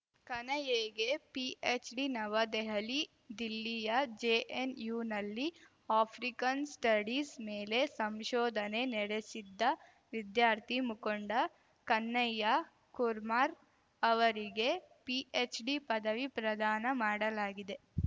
ಕನ್ಹಯ್ಯಾಗೆ PhD ನವದೆಹಲಿ ದಿಲ್ಲಿಯ ಜೆಎನ್‌ಯುನಲ್ಲಿ African studies ಮೇಲೆ ಸಂಶೋಧನೆ ನೆಡೆಸಿದ್ದ ವಿದ್ಯಾರ್ಥಿ ಮುಖಂಡ ಕನ್ಹಯ್ಯಾ ಕುರ್ಮಾರ್ ಅವರಿಗೆ ಪಿಎಚ್‌ಡಿ ಪದವಿ ಪ್ರದಾನ ಮಾಡಲಾಗಿದೆ